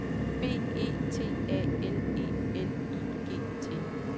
B E T A L E L I G T